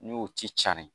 N'o ci carin